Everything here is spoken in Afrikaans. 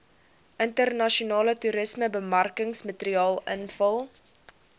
internasionale toerismebemarkingsmateriaal invul